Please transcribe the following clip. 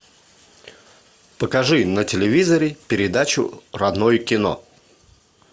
покажи на телевизоре передачу родное кино